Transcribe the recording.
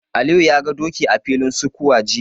Aliyu ya ga doki a filin sukuwa jiya.